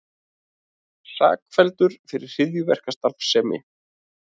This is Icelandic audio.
Sakfelldur fyrir hryðjuverkastarfsemi